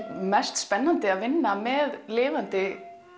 mest spennandi að vinna með lifandi